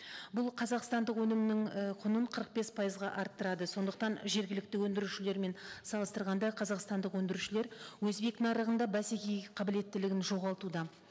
бұл қазақстандық өнімнің ііі құнын қырық бес пайызға арттырады сондықтан жергілікті өндірушілермен салыстырғанда қазақстандық өндірушілер өзбек нарығында бәсекеге қабілеттілігін жоғалтуда